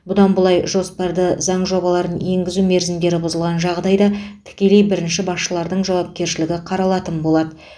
бұдан былай жоспарды заң жобаларын енгізу мерзімдері бұзылған жағдайда тікелей бірінші басшылардың жауапкершілігі қаралатын болады